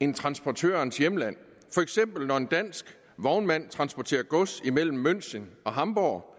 end transportørens hjemland for eksempel når en dansk vognmand transporterer gods imellem münchen og hamburg